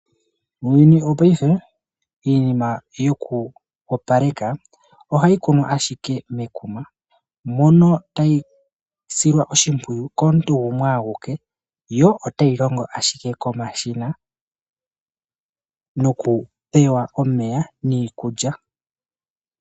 Muuyuni wo paife iinima yoku opaleka ohayi kunwa ashike mekuma mono tayi silwa oshimpwiyu komuntu gumwe awike yo otayi longo ashike komashina noku pewa omeya niikulya.